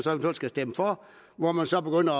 man skal stemme for og hvor man så begynder